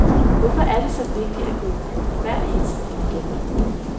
Hvorfor er det så vigtigt at gå i byen hver eneste weekend?